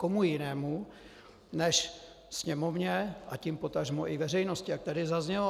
Komu jinému než Sněmovně, a tím potažmo i veřejnosti, jak tady zaznělo?